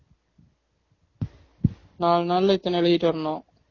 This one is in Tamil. நாலு நாள்ல இத்தன எழுதிட்டு வரணும்